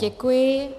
Děkuji.